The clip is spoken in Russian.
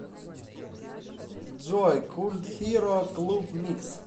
джой культ хиро клуб микс